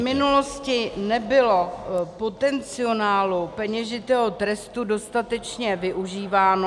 V minulosti nebylo potenciálu peněžitého trestu dostatečně využíváno.